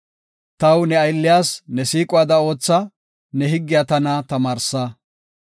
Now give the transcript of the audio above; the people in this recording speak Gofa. Taw ne aylliyas, ne siiquwada ootha; ne higgiya tana tamaarsa.